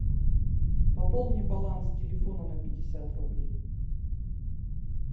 пополни баланс телефона на пятьдесят рублей